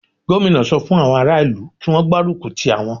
Gómìnà sọ fún àwọn ará ìlú kí Wọ́n gbárùkù ti àwọn.